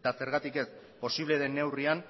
eta zergatik ez posible den neurrian